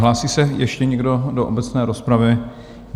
Hlásí se ještě někdo do obecné rozpravy?